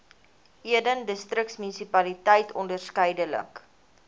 eden distriksmunisipaliteit onderskeidelik